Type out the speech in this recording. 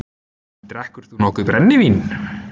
Drekkur þú nokkuð brennivín?